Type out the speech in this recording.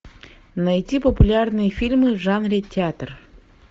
найти популярные фильмы в жанре театр